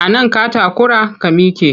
A nan ka takura? ka mike!